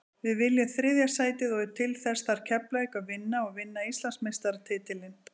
Við viljum þriðja sætið og til þess þarf Keflavík að vinna og vinna Íslandsmeistaratitilinn.